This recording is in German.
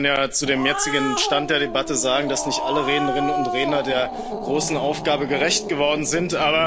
Leider muss man ja zu dem jetzigen Stand der Debatte sagen, dass nicht alle Rednerinnen und Redner der großen Aufgabe gerecht geworden sind.